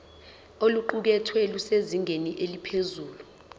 oluqukethwe lusezingeni eliphezulu